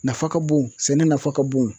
Nafa ka bon sɛnɛ nafa ka bon